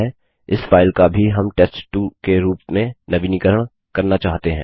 इस फाइल का भी हम टेस्ट2 के रूप में नवीनीकरण करना चाहते हैं